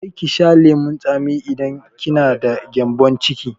Kar ki sha lemun tsami idan kina da gyambon ciki!